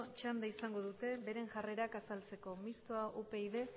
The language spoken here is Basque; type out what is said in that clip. txanda izango dute beren jarrera azaltzeko mistoa upyd